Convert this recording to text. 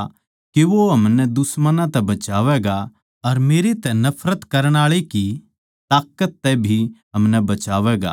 बल्के म्हारै दुश्मनां तै अर म्हारै सब बैरियाँ कै हाथ्थां तै म्हारा उद्धार करया